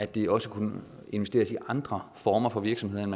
de også kunne investeres i andre former for virksomheder end